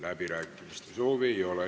Läbirääkimiste soovi ei ole.